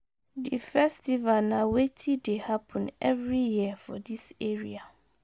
Di festival na weti dey happen every year for dis area